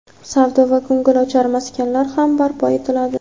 savdo va ko‘ngilochar maskanlar ham barpo etiladi.